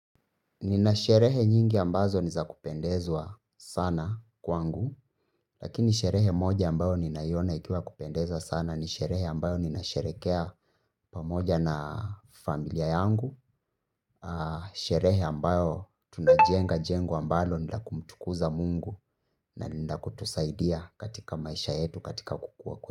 Ninasherehe nyingi ambazo ni za kupendezwa sana kwangu, lakini sherehe moja ambayo ninaona ikiwa kupendeza sana ni sherehe ambayo ninasherehekea pamoja na familia yangu, sherehe ambayo tunajenga jengo ambalo ni lakumtukuza Mungu na nilakutusaidia katika maisha yetu katika kukuwa kwenye.